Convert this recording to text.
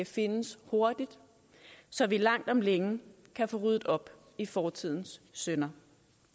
findes hurtigt så vi langt om længe kan få ryddet op i fortidens synder